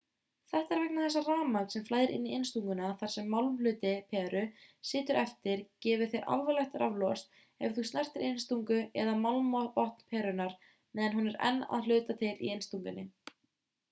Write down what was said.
þetta er vegna þess að rafmagn sem flæðir inn í innstunguna þar sem málmhluti peru situr getur gefið þér alvarlegt raflost ef þú snertir innstungu eða málmbotn perunnar meðan hún er enn að hluta til í innstungunni